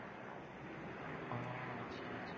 উম আচ্ছা আচ্ছা।